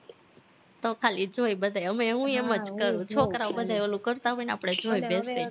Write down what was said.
હવે ખાલી જોઈ બધાય છોકરાવ બધાય ઓલું કરતા હોય ને